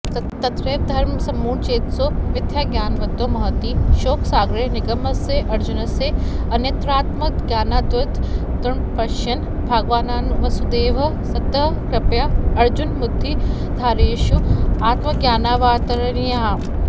तत्रैव धर्मसंमूढचेतसो मिथ्याज्ञानवतो महति शोकसागरे निमग्नस्य अर्जुनस्य अन्यत्रात्मज्ञानादुद्धरणमपश्यन् भगवान्वासुदेवः ततः कृपया अर्जुनमुद्दिधारयिषुः आत्मज्ञानायावतारयन्नाह